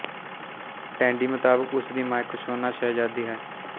ਟੈਂਡੀ ਮੁਤਾਬਕ ਉਸ ਦੀ ਮਾਂ ਇੱਕ ਸ਼ੋਨਾ ਸ਼ਹਿਜ਼ਾਦੀ ਹੈ